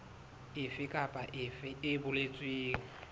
efe kapa efe e boletsweng